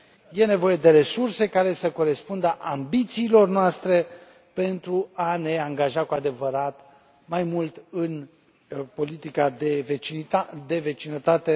E nevoie de resurse care să corespundă ambițiilor noastre pentru a ne angaja cu adevărat mai mult în politica de vecinătate.